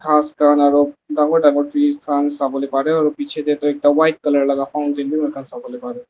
khas khan aro dangor dangor trees trunks sabolae parae aro bichae dae toh ekta white colour laka fountain bi moikan sabolae parae.